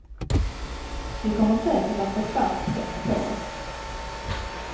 Vi kommer säkert att få stark press på oss.